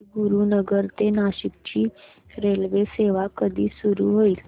राजगुरूनगर ते नाशिक ची रेल्वेसेवा कधी सुरू होईल